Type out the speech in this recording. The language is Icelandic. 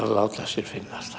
að láta sér finnast